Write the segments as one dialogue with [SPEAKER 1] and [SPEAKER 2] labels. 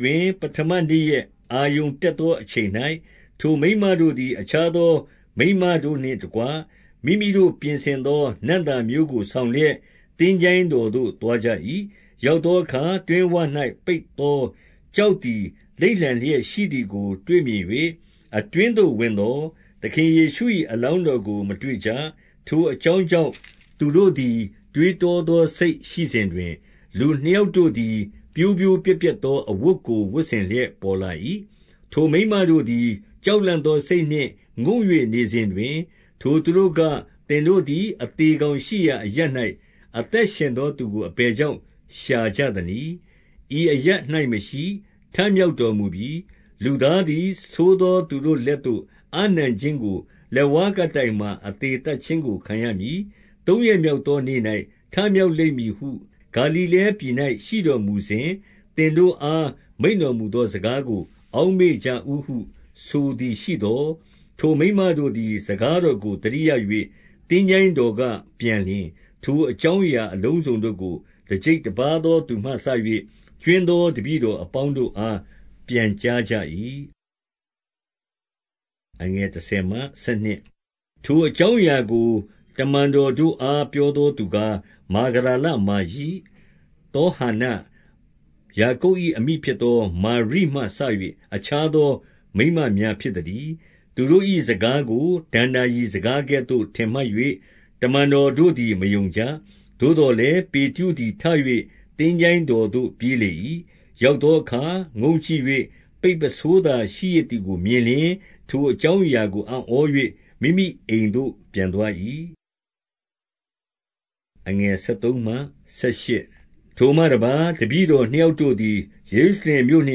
[SPEAKER 1] တွင် ပဌမနေ့ရက် အာရုဏ်တက်သောအချိန်၌၊ ထိုမိန်းမတို့သည် အခြားသော မိန်းမတို့နှင့် တကွ မိမိတို့ ပြင်ဆင်သောနံ့သာမျိုးကို ဆောင်လျက် သင်္ချိုင်းတော်သို့ သွားကြ၏။ ရောက်သောအခါ တွင်းဝ၌ ပိတ်သောကျောက်သည် လိမ့်လန်လျက်ရှိသည်ကို တွေ့မြင်၍ အတွင်းသို့ ဝင်သော်၊ သခင်ယေရှု၏အလောင်းတော်ကို မတွေ့ကြ။ ထိုအကြောင်းကြောင့် သူတို့သည် တွေးတောသောစိတ်ရှိစဉ်တွင်၊ လူနှစ်ယောက်တို့သည် ပြိုးပြိုးပြက် ပြက်သော အဝတ်ကို ဝတ်ဆင်လျက် ပေါ်လာ၏။ ထိုမိန်းမတို့သည် ကြောက်လန့်သောစိတ်နှင့် ငုံ့၍နေစဉ်တွင်၊ ထိုသူတို့က၊ သင်တို့သည် အသေကောင် ရှိရာအရပ်၌ အသက်ရှင်သောသူကို အဘယ်ကြောင့် ရှာကြသနည်း။ ဤအရပ်၌မရှိ၊ ထမြောက်တော်မူပြီ။ လူသားသည် ဆိုးသောသူတို့လက်သို့ အပ်နှံခြင်း၊ လက်ဝါးကပ်တိုင်မှာ အသေသတ်ခြင်းကိုခံရမည်။ သုံးရက်မြောက်သောနေ့၌ ထမြောက်လိမ့်မည်ဟု ဂါလိလဲပြည်၌ရှိတော်မူစဉ် သင်တို့အား မိန့်တော်မူသော စကားကို အောက်မေ့ကြဦးဟု ဆိုကြသည်ရှိသော်၊ ထိုမိန်းမတို့သည် စကားတော်ကို သတိရ၍၊ သင်္ချိုင်းတော်က ပြန်လျှင် ထိုအကြောင်းအရာအလုံးစုံတို့ကို တကျိပ်တပါးသောသူမှစ၍ ကြွင်းသော တပည့်တော်အပေါင်းတို့အား ပြန်ကြားကြ၏။ ထိုအကြောင်းအရာကို တမန်တော်တို့အား ပြောသောသူကား၊ မာဂဒလမာရိ၊ သောဟန္န၊ ယာကုပ်၏ အမိဖြစ်သောမာရိမှစ၍ အခြားသောမိန်းမများဖြစ်သတည်း။ သူတို့၏စကားကို ဒဏ္ဍာရီစကားကဲ့သို့ ထင်မှတ်၍ တမန်တော်တို့သည် မယုံကြ။ သို့သော်လည်း ပေတရုသည်ထ၍ သင်္ချိုင်းတော်သို့ ပြေးလေ၏။ ရောက်သောအခါ ငုံ့ကြည့်၍ ပိတ် ပုဆိုးသာရှိရစ်သည်ကို မြင်လျှင်၊ ထိုအကြောင်းအရာကို အံ့ဩ၍ မိမိအိမ်သို့ ပြန်သွား၏။ ထိုမှတပါး၊ တပည့်တော်နှစ်ယောက်တို့သည် ယေရုရှလင်မြို့နှ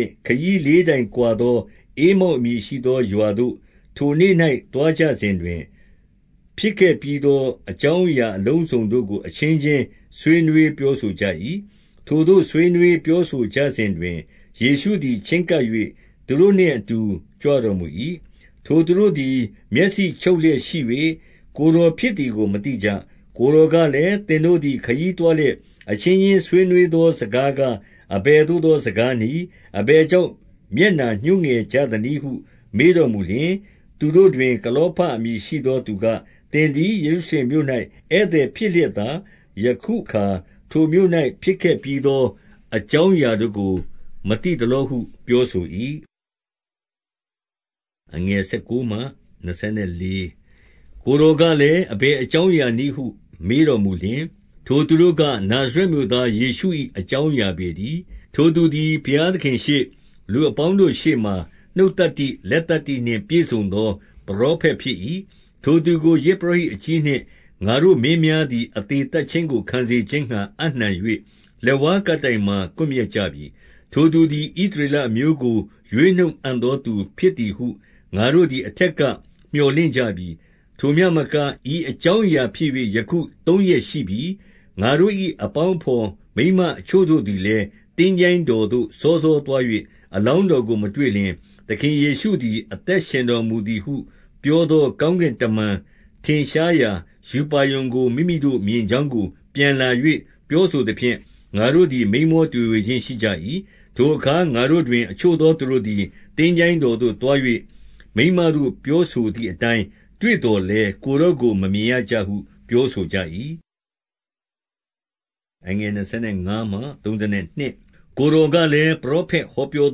[SPEAKER 1] င့် ခရီးလေးတိုင်ကွာသောဧမောက် အမည်ရှိသောရွာသို့ ထိုနေ့၌ သွားကြစဉ်တွင်၊ ဖြစ်ခဲ့ပြီးသော အကြောင်းအရာအလုံးစုံတို့ကို အချင်းချင်း ဆွေးနွေးပြောဆိုကြ၏။ ထိုသို့ဆွေးနွေးပြောဆိုကြစဉ်တွင်၊ ယေရှုသည် ချဉ်းကပ်၍ သူတို့နှင့်အတူ ကြွတော်မူ၏။ ထိုသူတို့သည် မျက်စိချုပ်လျက်ရှိ၍၊ ကိုယ်တော်ဖြစ်သည်ကို မသိကြ။ ကိုယ်တော်ကလည်း၊ သင်တို့သည် ခရီးသွားလျက် အချင်းချင်းဆွေးနွေးသောစကားကား၊ အဘယ်သို့ သော စကားနည်း။ အဘယ်ကြောင့် မျက်နှာညှိုးငယ်ကြသနည်းဟု မေးတော်မူလျှင်၊ သူတို့တွင် ကလောဖအမည်ရှိသောသူက၊ သင်သည် ယေရုရှလင်မြို့၌ ဧည့်သည်ဖြစ်လျက်သာ ယခု အခါ ထိုမြို့၌ ဖြစ်ခဲ့ပြီးသော အကြောင်းအရာတို့ကို မသိသလောဟု ပြောဆို၏။ ကိုယ်တော်ကလည်း၊ အဘယ်အကြောင်းအရာနည်းဟု မေးတော်မူလျှင်၊ ထိုသူတို့က၊ နာဇရက်မြို့သား ယေရှု၏အကြောင်းအရာပေတည်း။ ထိုသူသည် ဘုရားသခင်ရှေ့၊ လူအပေါင်းတို့ရှေ့မှာ၊ နှုတ်သတ္တိ၊ လက်သတ္တိ နှင့် ပြည့်စုံသော ပရောဖက်ဖြစ်၏။ ထိုသူကို ယဇ်ပုရောဟိတ်အကြီးနှင့် ငါတို့ မင်းများသည် အသေသတ်ခြင်းကို ခံစေခြင်းငှါ အပ်နှံ၍ လက်ဝါးကပ်တိုင်မှာ ကွပ်မျက်ကြပြီ။ ထိုသူသည် ဣသရေလအမျိုးကို ရွေးနှုတ်အံ့သောသူဖြစ်သည်ဟု ငါတို့သည် အထက်ကမြော်လင့်ကြ ပြီ။ ထိုမျှမက ဤအကြောင်းအရာဖြစ်၍ ယခုသုံးရက်ရှိပြီ။ ငါတို့၏အပေါင်းအဘော် မိန်းမအချို့တို့သည်လည်း သင်္ချိုင်းတော်သို့ စောစောသွား၍၊ အလောင်းတော်ကို မတွေ့လျှင်၊ သခင်ယေရှုသည် အသက်ရှင်တော်မူသည်ဟု ပြောသောကောင်းကင် တမန်ထင်ရှားရာ ရူပါရုံကို မိမိတို့ မြင်ကြောင်းကို ပြန်လာ၍ ပြောဆိုသဖြင့်၊ ငါတို့သည် မိန်းမောတွေဝေခြင်း ရှိကြ၏။ ထိုအခါ ငါတို့တွင် အချို့သောသူတို့သည် သင်္ချိုင်းတော်သို့သွား၍ မိန်းမတို့ပြောဆိုသည်အတိုင်း တွေ့ သော်လည်း၊ ကိုယ်တော်ကို မမြင်ရဟု ပြောဆိုကြ၏။ ကိုယ်တော်ကလည်း၊ ပရောဖက်ဟောပြော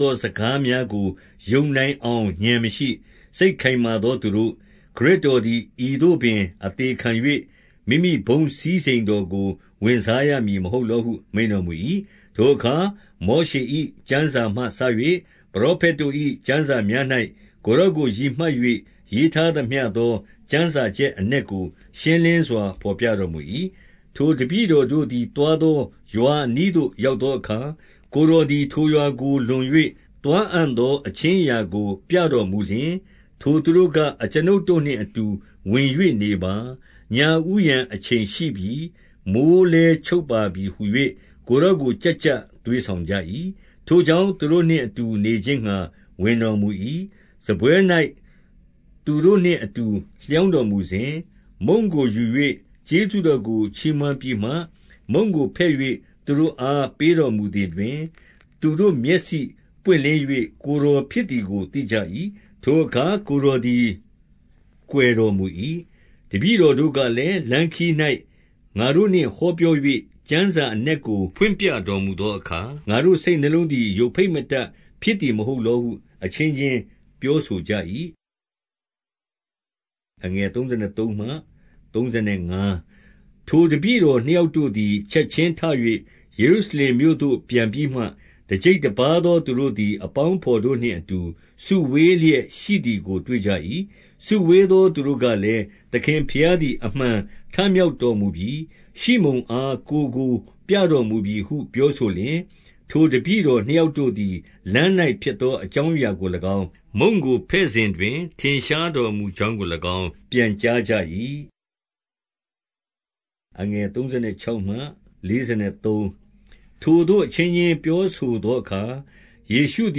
[SPEAKER 1] သောစကားများကို ယုံနိုင်အောင် ဉာဏ်မရှိ၊ စိတ်ခိုင်မာ သောသူတို့၊ ခရစ်တော်သည် ဤသို့ပင် အသေခံ၍ မိမိဘုန်းစည်းစိမ်တော်ကို ဝင်စားရမည်မဟုတ်လောဟု မိန့်တော်မူ၏။ ထိုအခါ မောရှေ၏ကျမ်းစာမှစ၍ ပရောဖက်တို့၏ ကျမ်းစာများ၌ ကိုယ်တော်ကိုရည်မှတ်၍ ရေးထား သမျှသော ကျမ်းစာချက်အနက်ကို ရှင်းလင်းစွာ ဘော်ပြတော်မူ၏။ ထိုတပည့်တော်တို့သည် သွားသောရွာအနီးသို့ ရောက်သောအခါ၊ ကိုယ်တော်သည် ထိုရွာကို လွန်၍ သွားအံ့သော အခြင်းအရာကို ပြတော်မူလျှင်၊ ထိုသူတို့က အကျွန်ုပ်တို့နှင့်အတူဝင်၍ နေပါ။ ညဦးယံအချိန်ရှိပြီ။ မိုဃ်းလည်းချုပ်ပါသည်ဟူ၍ ကိုယ် တော်ကို ကျပ်ကျပ်သွေးဆောင်ကြ၏။ ထိုကြောင့် သူတို့နှင့်အတူနေခြင်းငှါ ဝင်တော်မူ၏။ စားပွဲ၌ သူတို့နှင့်အတူ လျောင်းတော်မူစဉ်၊ မုန့်ကိုယူ၍ ကျေးဇူးတော်ကို ချီးမွမ်းပြီးမှ မုန့်ကိုဖဲ့၍ သူတို့ အား ပေးတော်မူသည်တွင်၊ သူတို့သည် မျက်စိပွင့်လင်း၍ ကိုယ်တော်ဖြစ်သည်ကို သိကြ၏။ ထိုအခါ ကိုယ်တော်သည် ကွယ်တော် မူ၏။ တပည့်တော်တို့ကလည်း၊ လမ်းခရီး၌ ငါတို့နှင့်ဟောပြော၍ ကျမ်းစာအနက်ကို ဖွင့်ပြတော်မူသော အခါ၊ ငါတို့ စိတ်နှလုံးသည် ယိုဖိတ်မတတ်ဖြစ်သည်မဟုတ်လောဟု အချင်းချင်းပြောဆိုကြ၏။ ထိုတပည့်တော်နှစ်ယောက်တို့သည် ချက်ခြင်းထ၍ ယေရုရှလင်မြို့သို့ ပြန်ပြီးမှ၊ တကျိပ်တပါးသော သူတို့သည် အပေါင်းအဘော်တို့နှင့်အတူ စုဝေးလျက်ရှိသည်ကို တွေ့ကြ၏။ စုဝေးသောသူတို့ကလည်း၊ သခင်ဘုရားသည် အမှန်ထမြောက်တော်မူပြီ။ ရှိမုန်အား ကိုယ်ကိုပြတော် မူပြီဟု ပြောဆိုလျှင်၊ ထိုတပည့်တော်နှစ်ယောက်တို့သည် လမ်း၌ ဖြစ်သောအကြောင်းအရာကို၎င်း၊ မုန့်ကိုဖဲ့စဉ်တွင် ထင်ရှားတော်မူကြောင်းကို၎င်း၊ ပြန်ကြားကြ၏။ ထိုသို့အချင်းချင်း ပြောဆိုသောအခါ၊ ယေရှုသ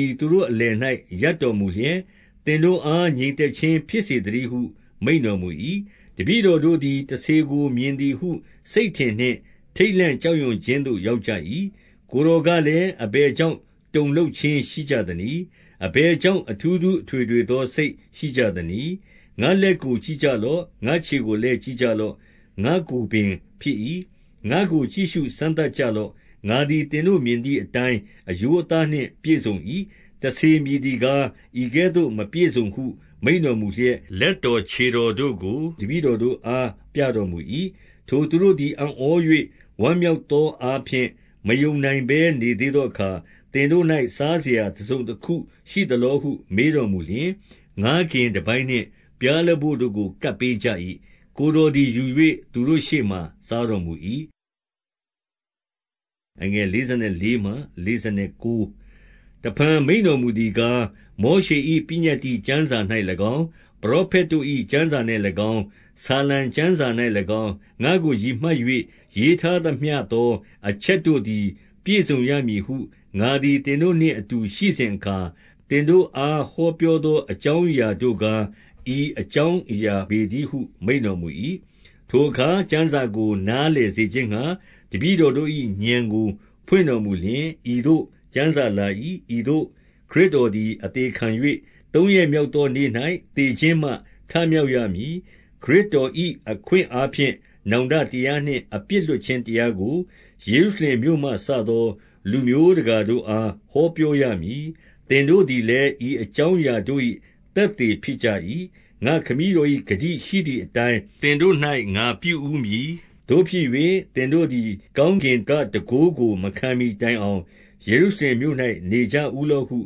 [SPEAKER 1] ည် သူတို့အလယ်၌ ရပ်တော်မူလျက်၊ သင်တို့အား ငြိမ် သက်ခြင်းဖြစ်စေသတည်းဟု မိန့်တော်မူ၏။ တပည့်တော်တို့သည် တစ္ဆေကိုမြင်သည်ဟု စိတ်ထင်နှင့် ထိတ်လန့် ကြောက်ရွံ့ခြင်းသို့ ရောက်ကြ၏။ ကိုယ်တော်ကလည်း၊ အဘယ်ကြောင့် အထူးထူးအထွေထွေသော စိတ်ရှိကြသနည်း။ ငါ့လက်ကို ကြည့်ကြလော့။ ငါ့ခြေကိုလည်း ကြည့်ကြလော့။ ငါ့ကိုယ်ပင်ဖြစ်၏။ ငါ့ကို ကြည့်ရှုစမ်းသပ် ကြလော့။ ငါသည် သင်တို့မြင်သည်အတိုင်း အရိုး အသားနှင့်ပြည့်စုံ၏။ တစ္ဆေမည်သည်ကား ဤကဲ့သို့ မပြည့်စုံဟု မိန့်တော်မူလျက်၊ လက်တော်ခြေတော်တို့ကို တပည့်တော်တို့အား ပြတော်မူ၏။ ထိုသူတို့သည် အံ့ဩ၍ ဝမ်းမြောက်သောအားဖြင့် မယုံနိုင်ဘဲ နေသေးသောအခါ၊ သင်တို့၌ စားစရာ တစုံတခုရှိသလောဟု မေးတော်မူလျှင်၊ ငါးကင်တပိုင်းနှင့် ပျားလပို့ကို ကပ်ပေးကြ၏။ ကိုယ်တော်သည် ယူ၍ သူတို့ရှေ့မှာ စားတော်မူ၏။ တဖန် မိန့်တော်မူသည်ကား၊ မောရှေ၏ပညတ္တိကျမ်းစာ၌၎င်း၊ ပရောဖက်တို့၏ ကျမ်းစာ၌၎င်း၊ ဆာလံ ကျမ်းစာ၌၎င်း၊ ငါ့ကို ရည်မှတ်၍ ရေးထားသမျှသောအချက်တို့သည် ပြည့်စုံရမည်ဟု ငါသည် သင်တို့နှင့်အတူ ရှိစဉ်အခါ သင်တို့အားဟောပြောသောအကြောင်းအရာတို့ကား ဤအကြောင်းအရာပေတည်းဟု မိန့်တော်မူ၏။ ထိုအခါ ကျမ်းစာကို နားလည်စေခြင်းငှါ တပည့်တော်တို့၏ ဉာဏ်ကို ဖွင့်တော်မူလျှင်၊ ဤသို့ ကျမ်းစာလာ၏။ ဤသို့ ခရစ်တော်သည် အသေခံ၍ သုံးရက်မြောက်သောနေ့၌ သေခြင်းမှ ထမြောက်ရမည်။ ခရစ်တော်၏ အခွင့်အားဖြင့် နောင်တတရားနှင့် အပြစ်လွှတ်ခြင်းတရားကို ယေရုရှလင်မြို့မှစသော လူမျိုးတကာတို့အား ဟောပြောရမည်။ သင်တို့သည်လည်း ဤအကြောင်းအရာတို့၏ သက်သေဖြစ်ကြ၏။ ငါ့ခမည်းတော်၏ ဂတိရှိသည်အတိုင်း သင်တို့၌ ငါပြုဦးမည်။ သို့ဖြစ်၍ သင်တို့သည် ကောင်းကင်က တန်ခိုးကို မခံမှီတိုင်အောင် ယေရုရှလင်မြို့၌ နေကြဦးလော့ဟု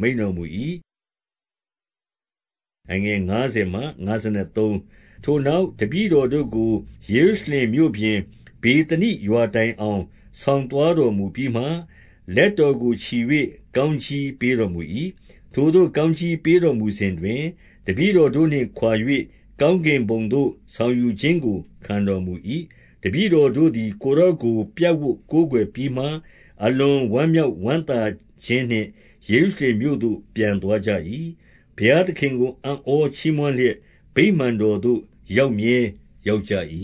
[SPEAKER 1] မိန့်တော်မူ၏။ ထိုနောက် တပည့်တော်တို့ကို ယေရုရှလင်မြို့ပြင်၊ ဗေသနိရွာတိုင်အောင် ဆောင်သွားတော်မူပြီးမှ၊ လက်တော်ကို ချီ၍ ကောင်းကြီးပေးတော်မူ၏။ ထိုသို့ ကောင်းကြီးပေးတော်မူစဉ်တွင်၊ တပည့်တော်တို့နှင့်ခွာ၍ ကောင်းကင်ဘုံသို့ ဆောင်ယူခြင်းကို ခံတော်မူ၏။ တပည့်တော်တို့သည် ကိုယ်တော်ကို ပြပ်ဝပ်ကိုးကွယ်ပြီးမှ အလွန်ဝမ်းမြောက်ဝမ်းသာခြင်းနှင့် ယေရု ရှလင်မြို့သို့ ပြန်သွားကြ၏။ ဘုရားသခင်ကို အံ့ဩချီးမွန်းလျက် ဗိမာန်တော်သို့ ရောက်မြဲရောက်ကြ၏